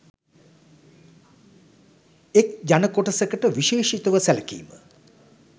එක් ජනකොටසකට විශේෂිතව සැලකිම